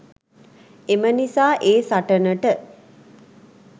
එම නිසා ඒ සටනට